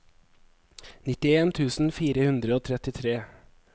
nittien tusen fire hundre og trettitre